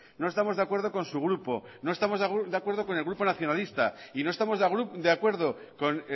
no estamos de acuerdo con su grupo no estamos de acuerdo con el grupo nacionalista y no estamos de acuerdo con